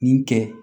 Nin kɛ